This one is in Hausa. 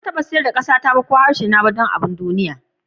Ba zan taba sayar da ƙasata ko harshe ga wani abu a duniya ba.